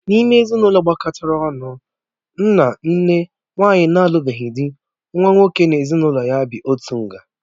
N'ime ezinụlọ gbakọtara ọnụ nna, nne, nwanyị na-alubeghi dị, nwa nwoke na-ezinụlọ ya bị otu nga.